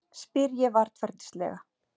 spyr ég varfærnislega.